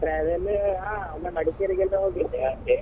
Travel ಹಾ ಒಮ್ಮೆ Madikeri ಗೆಲ್ಲ ಹೋಗಿದ್ದೆ ಹಾಗೆ.